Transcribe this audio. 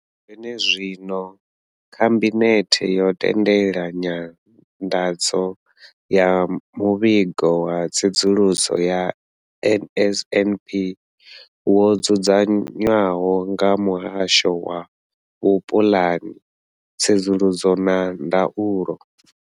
Zwene zwino, Khabinethe yo tendela nyanḓadzo ya Muvhigo wa Tsedzuluso ya NSNP wo dzudzanywaho nga Muhasho wa Vhupulani, Tsedzuluso na Ndaulo.